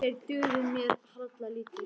Þeir dugðu mér harla lítið.